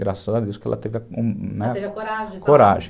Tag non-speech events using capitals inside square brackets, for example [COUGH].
Graças a Deus que ela teve [UNINTELLIGIBLE] a coragem, coragem.